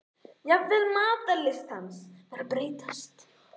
Jafnvel matarlyst hans var að breytast.